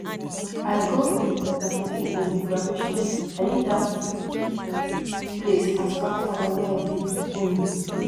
i go um my pikin um graduation i leave dat place as proud father wey i be um